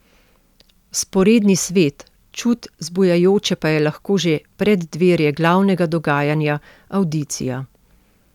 Vzporedni svet, čud zbujajoče pa je lahko že preddverje glavnega dogajanja, avdicija.